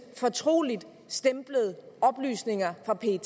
fortroligtstemplede oplysninger fra pet